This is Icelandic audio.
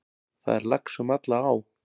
Það er lax um alla á.